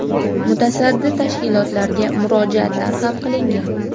Mutasaddi tashkilotlarga murojaatlar ham qilingan.